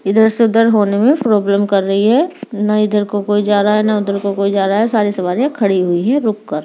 इधर से उधर होने में प्रॉब्लम कर रही है न इधर को कोई जा रहा है न उधर को कोई जा रहा है सारी सवारियां खड़ी हुई है रुक कर।